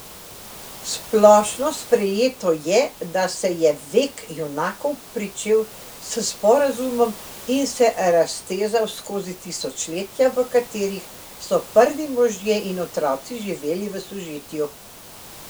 Splošno sprejeto je, da se je vek junakov pričel s Sporazumom in se raztezal skozi tisočletja, v katerih so Prvi možje in otroci živeli v sožitju.